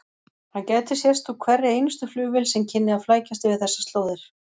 Hann gæti sést úr hverri einustu flugvél sem kynni að flækjast yfir þessar slóðir.